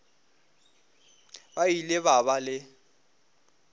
ba ile ba ba le